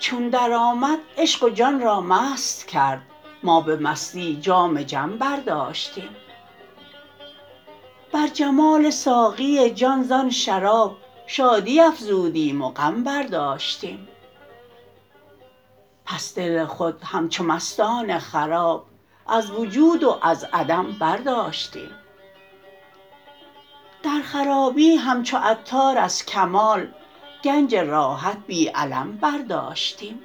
چون درآمد عشق و جان را مست کرد ما به مستی جام جم برداشتیم بر جمال ساقی جان زان شراب شادی افزودیم و غم برداشتیم پس دل خود همچو مستان خراب از وجود و از عدم برداشتیم در خرابی همچو عطار از کمال گنج راحت بی الم برداشتیم